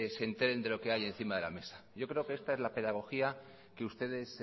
se enteren de lo que hay encima de la mesa yo creo que esta es la pedagogía que ustedes